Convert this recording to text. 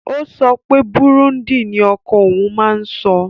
Ó ó sopé bùrúndì nii oko ohun n má n so.